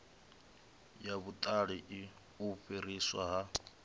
ya vhuṱali u fhiriswa ha